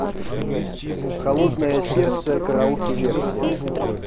холодное сердце караоке версия